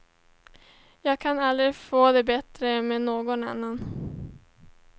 Jag kan aldrig få det bättre med någon annan.